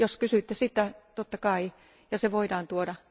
Jos kysyitte sitä, totta kai, ja se voidaan tuoda.